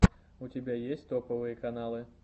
у тебя есть топовые каналы